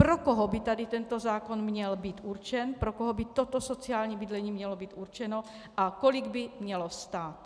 Pro koho by tady tento zákon měl být určen, pro koho by toto sociální bydlení mělo být určeno a kolik by mělo stát.